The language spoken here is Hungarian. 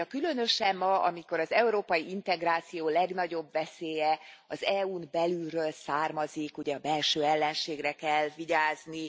Azt mondja Különösen ma, amikor az európai integráció legnagyobb veszélye az EU n belülről származik ugye a belső ellenségre kell vigyázni.